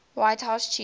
white house chief